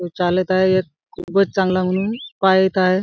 चालत आहे एक खूपच चांगला म्हणून पाहत आहे.